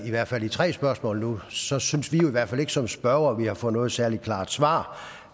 i hvert fald i tre spørgsmål nu så synes vi jo i hvert fald ikke som spørgere at vi har fået noget særlig klart svar